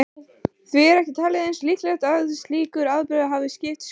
Því er ekki talið eins líklegt að slíkur atburður hafi skipt sköpum.